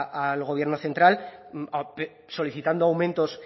al gobierno central solicitando aumentos